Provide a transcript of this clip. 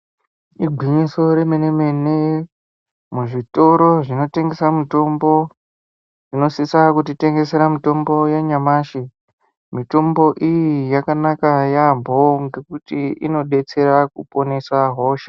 Igwinyiso remene mene muzvitoro zvinotengesa mitombo zvinosisa kutitengera mitombo yanyamashi mitombo iyi yakanaka yamho ngekuti inodetsera kuponesa hosha.